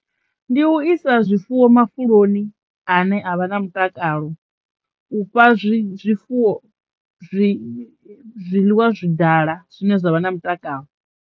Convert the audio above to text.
Ndi u isa zwifuwo mafhuloni ane a vha na mutakalo, u fha zwi zwifuwo zwi zwiḽiwa zwi dala zwine zwavha na mutakalo.